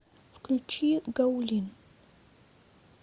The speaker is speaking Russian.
включи гаулин